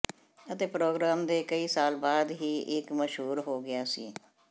ਅਤੇ ਪ੍ਰੋਗ੍ਰਾਮ ਦੇ ਕਈ ਸਾਲ ਬਾਅਦ ਹੀ ਇਹ ਮਸ਼ਹੂਰ ਹੋ ਗਿਆ ਸੀ